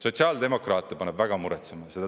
Sotsiaaldemokraate paneb väga muretsema.